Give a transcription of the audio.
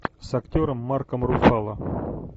с актером марком руффало